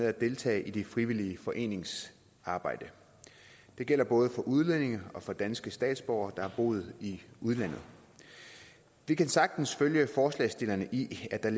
at deltage i det frivillige foreningsarbejde det gælder både for udlændinge og for danske statsborgere der har boet i udlandet vi kan sagtens følge forslagsstillerne i at der